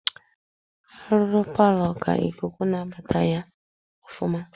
A rụrụ paalọ ka ikuku na-abata ya ọfụma.